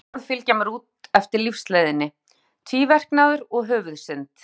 Bæði þessi orð fylgja mér út eftir lífsleiðinni, tvíverknaður og höfuðsynd.